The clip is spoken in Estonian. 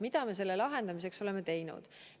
Mida me oleme selle lahendamiseks teinud?